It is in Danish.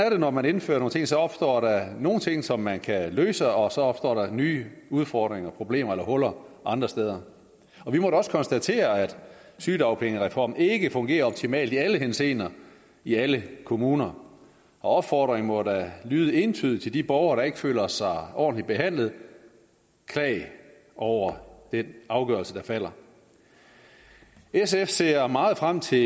jo når man indfører nogle ting så opstår der nogle steder ting som man kan løse og så opstår der nye udfordringer og problemer eller huller andre steder vi må da også konstatere at sygedagpengereformen ikke fungerer optimalt i alle henseender i alle kommuner og opfordringen må da lyde entydigt til de borgere der ikke føler sig ordentligt behandlet klag over den afgørelse der falder sf ser meget frem til